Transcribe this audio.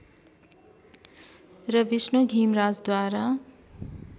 र विष्णु घिमराजद्वारा